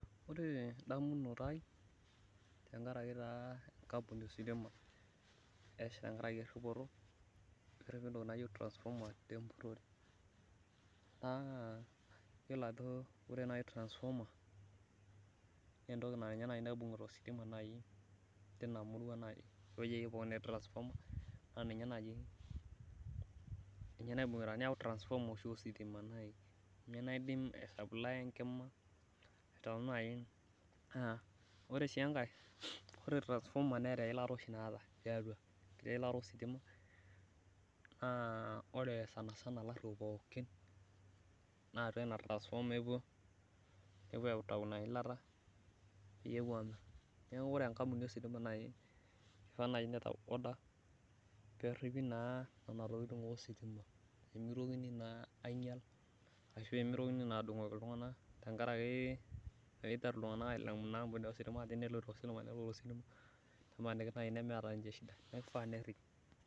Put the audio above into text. Ore edamunoto ai, tenkaraki taa enkampuni ositima, ashu tenkaraki eripoto, naayieu transformer naa iyiolo ajo ore naaji transformer naa entoki naa ninye naaji naibungita ositima naaji, teina murua. naa ninye naaji naibungita ositima. ninye naidim aisaplaaya enkima aitawang naaji naa ore sii enkae. ore transformer neeta eilata oshi naata. enkiti ilata. naa ore sanisana ilaruok pookin, naa atua ena transformer epuo nepuo aitayu Ina ilata .neeku ore enkampuni ositima kifaa naaji nitau order ,peeripi naa Nena tokitin ositima. pee mitokini naa aingial, ashu mitokini naa adungoki iltunganak tenkaraki eida, iltunganak ailamu enkampuni asiitima ajo imina ositima.